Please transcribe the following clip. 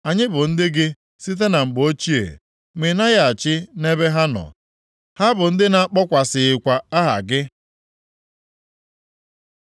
Anyị bụ nke gị site na mgbe ochie, ma ị naghị achị nʼebe ha nọ, ha bụ ndị a na-akpọkwasịghịkwa aha gị.